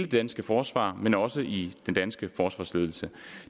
danske forsvar men også i den danske forsvarsledelse